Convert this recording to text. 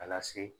A lase